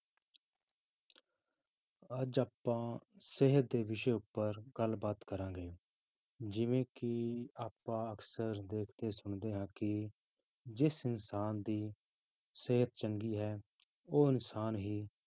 ਅੱਜ ਆਪਾਂ ਸਿਹਤ ਦੇ ਵਿਸ਼ੇ ਉੱਪਰ ਗੱਲਬਾਤ ਕਰਾਂਗੇ, ਜਿਵੇਂ ਕਿ ਆਪਾਂ ਅਕਸਰ ਦੇਖਦੇ ਸੁਣਦੇ ਹਾਂ ਕਿ ਜਿਸ ਇਨਸਾਨ ਦੀ ਸਿਹਤ ਚੰਗੀ ਹੈ ਉਹ ਇਨਸਾਨ ਹੀ